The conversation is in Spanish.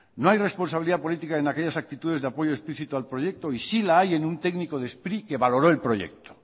no hay responsabilidad políticas en aquellas actitudes de apoyo explicito al proyecto y sí la hay en un técnico de sprit que valoró el proyecto